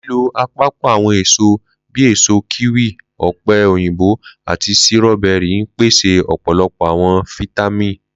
Lilo apapọ awọn eso bii èso kíwì, òpè òyìnbó ati ,sírọ́bẹ́rì n pese ọpọlọpọ awọn fitamini.